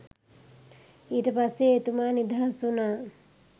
ඊට පස්සේ එතුමා නිදහස් වුණා